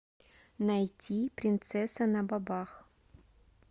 найти принцесса на бобах